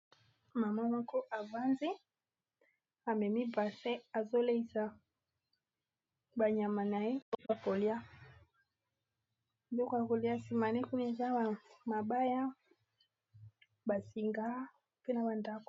mama moko avandi amemi basin azoleisa banyama na ye biloko ya biloko yakolia sima naye Kuna eza ya mabaya basinga mpe na bandako